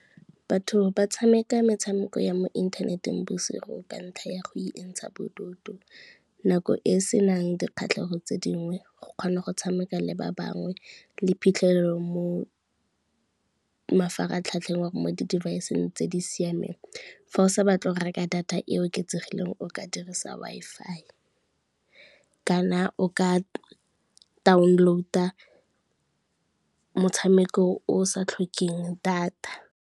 Batho ba tshameka metshameko ya mo inthaneteng bosigo ka ntlha ya go intsha bodutu, nako e e senang dikgatlhego tse dingwe, go kgona go tshameka le ba bangwe le phitlhelelo mo mafaratlhatlheng or mo di-device-eng tse di siameng. Fa o sa batle go reka data e oketsegileng o ka dirisa Wi-Fi, kana o ka download-a motshameko o sa tlhokeng data.